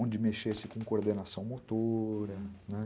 onde mexesse com coordenação motora.